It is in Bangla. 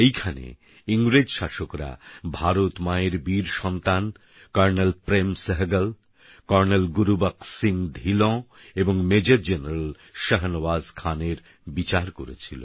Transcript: এইখানে ইংরেজ শাসকরা ভারতমায়ের বীর সন্তান কর্ণেল প্রেমসেহগল কর্ণেল গুরু বক্সসিংহধীলঁ এবং মেজর জেনারেল শাহনওয়াজ খানের বিচার করেছিল